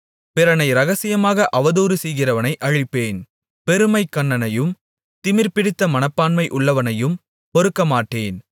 பிறனை இரகசியமாக அவதூறுசெய்கிறவனை அழிப்பேன் பெருமைக் கண்ணனையும் திமிர்பிடித்த மனப்பான்மை உள்ளவனையும் பொறுக்கமாட்டேன்